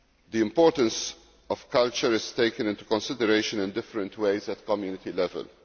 The importance of culture is taken into consideration in different ways at Community level.